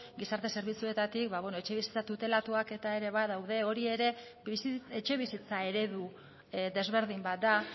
gizarte zerbitzuetatik etxebizitza tutelatuak eta ere badaude hori ere etxebizitza eredu desberdin bat da